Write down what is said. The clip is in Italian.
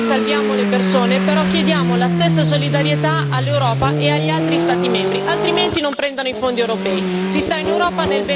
Noi accogliamo e salviamo le persone, però chiediamo la stessa solidarietà all'Europa e agli altri Stati membri, altrimenti non prendano i fondi europei.